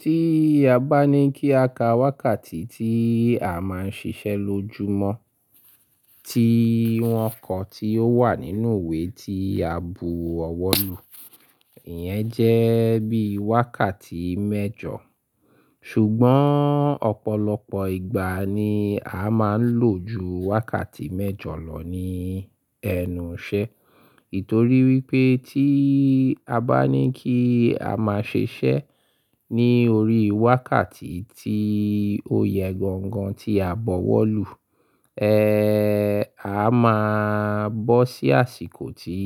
Tí a bá ní kí a ka wákàtí tí a máa ń ṣiṣẹ́ lojúmọ́, ti wọn kọ tí ó wà nínú ìwé tí a bu ọwọ́ lù, ìyẹn jẹ́ bí wákàtí mẹ́jọ. Ṣùgbọ́n ọ̀pọ̀lọpọ̀ ìgbà ni a máa ń lò ju wákàtí mẹ́jọ lọ ní ẹnu iṣẹ́. Ètò rí wípé tí a bá ní kí a máa ṣiṣẹ́ ní orí wákàtí tí ó yẹ gan gan tí a bọ̀wọ́ lù, ẹ́, a máa bọ́ sí àsìkò tí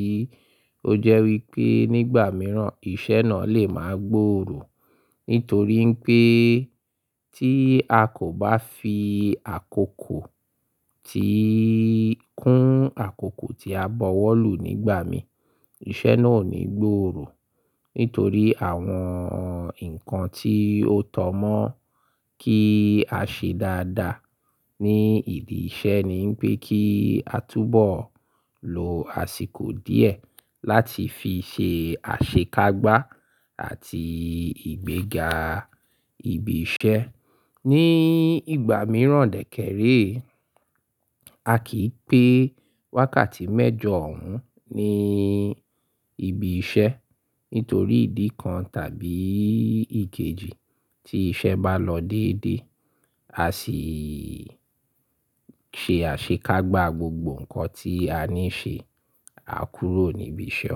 ó jẹ́ wípé nígbà mìíràn iṣẹ́ náà lè máa gbòòrò. Nítorí pé tí a kò bá fi àkókò tí kún àkókò tí a bọ̀wọ́ lù nígbà mìíràn, iṣẹ́ náà ò ní gbòòrò. Nítorí àwọn ǹkan tí ó tọ́ mọ́ kí a ṣe dáadáa ní ìdí iṣẹ́ ni wípé kí a túbọ̀ lo àsìkò díẹ̀ láti fi ṣe àṣekágbá àti ìgbéga ibi iṣẹ́. Ni ìgbà mìíràn dẹ́kẹ́re, a kì í pé wákàtí mẹ́jọ òún ní ibi iṣẹ́. Nítorí ìdí kan tàbí ìkejì tí iṣẹ́ bá lọ dédé, a sì ṣe àṣekágbá gbogbo ǹkan tí a ní ṣe, a kúrò níbi iṣẹ́.